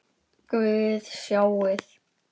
Guð, sjáiði!